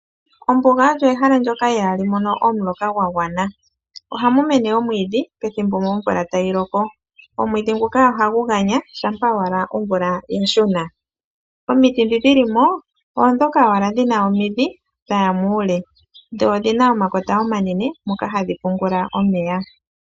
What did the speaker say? Ombuga olyo ehala ndoka ihaa li mono omuloka gwa gwana. ohamu mene omwiidhi pethimbo omvula tayi loko. Omwiidhi nguka ohagu ganya shampa owala omvula ya shuna. Omiti oondhoka owala dhina omidhi dhaya muule, dho odhina omakota omanene moka hadhi pungula omeya.